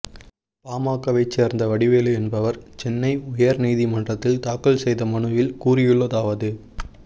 பாமகவை சேர்ந்த வடிவேலு என்பவர் சென்னை உயர் நீதிமன்றத்தில் தாக்கல் செய்த மனுவில் கூறியுள்ளதாவது